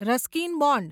Ruskin bond